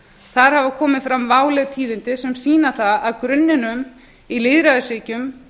þar hafa komið fram váleg tíðindi sem sýna það að grunninum í lýðræðisríkjum